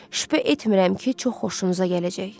Şübhə etmirəm ki, çox xoşunuza gələcək.